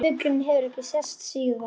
Fuglinn hefur ekki sést síðan.